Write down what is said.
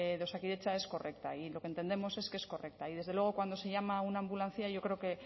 de osakidetza es correcta y lo que entendemos es que es correcta y desde luego cuando se llama a una ambulancia yo creo que